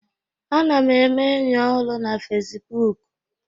Ana m eme enyi ọhụrụ na Facibụkụ